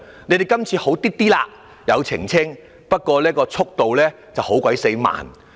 你們今次略有改善，有作出澄清，不過速度卻非常慢。